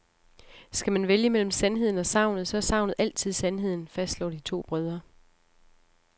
Skal man vælge mellem sandheden og sagnet, så er sagnet altid sandheden, fastslår de to brødre.